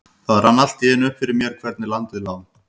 Það rann allt í einu upp fyrir mér hvernig landið lá.